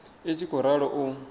i tshi khou ralo u